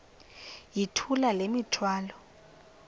yithula le mithwalo